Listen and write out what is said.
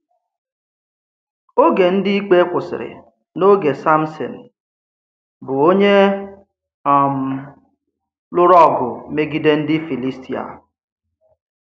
Ògé Ndí Íkpé kwụsịrị̀ n’ógè Sámṣìn, bụ́ onye um lụrụ̀ ọgụ́ megíde ndí Fílístíà.